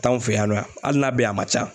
T'an fɛ yan nɔ hali n'a bɛ yan a man ca